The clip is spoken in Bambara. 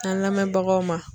An lamɛnbagaw ma.